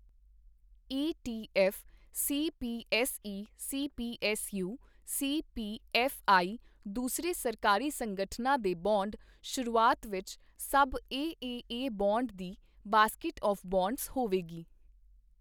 ETF, CPSE CPSU CPFI ਦੂਸਰੇ ਸਰਕਾਰੀ ਸੰਗਠਨਾਂ ਦੇ ਬੌਂਡ ਸ਼ੁਰੂਆਤ ਵਿੱਚ ਸਭ ਏਏਏ ਬੌਂਡ ਦੀ ਬਾਸਕੀਟ ਆਵ੍ ਬੌਂਡਜ਼ ਹੋਵੇਗੀ।